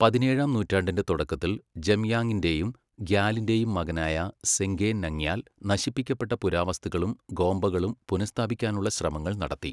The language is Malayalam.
പതിനേഴാം നൂറ്റാണ്ടിന്റെ തുടക്കത്തിൽ, ജംയാങ്ങിന്റെയും ഗ്യാലിന്റെയും മകനായ സെങ്ഗെ നാംഗ്യാൽ നശിപ്പിക്കപ്പെട്ട പുരാവസ്തുക്കളും ഗോമ്പകളും പുനഃസ്ഥാപിക്കാനുള്ള ശ്രമങ്ങൾ നടത്തി.